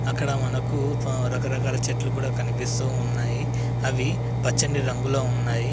అక్కడ మనకు ఆహ్ రకరకాల చెట్లు కూడా కనిపిస్తూ ఉన్నాయి. అవి పచ్చని రంగులో ఉన్నాయి.